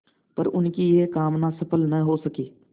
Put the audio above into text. पर उनकी यह कामना सफल न हो सकी